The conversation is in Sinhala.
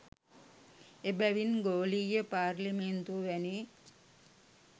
එබැවින් ගෝලීය පාර්ලිමේන්තුව වැනි